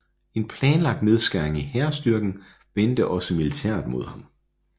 En planlagt nedskæring i hærstyrken vendte også militæret imod ham